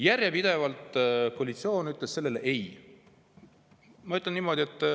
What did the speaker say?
Järjepidevalt ütles koalitsioon ei.